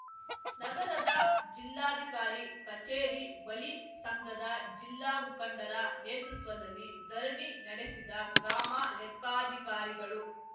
ನಗರದ ಜಿಲ್ಲಾಧಿಕಾರಿ ಕಚೇರಿ ಬಳಿ ಸಂಘದ ಜಿಲ್ಲಾ ಮುಖಂಡರ ನೇತೃತ್ವದಲ್ಲಿ ಧರಣಿ ನಡೆಸಿದ ಗ್ರಾಮ ಲೆಕ್ಕಾಧಿಕಾರಿಗಳು